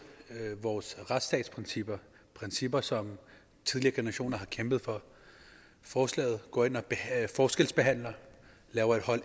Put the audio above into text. vores retsstatsprincipper principper som tidligere generationer har kæmpet for forslaget går ind og forskelsbehandler laver et a hold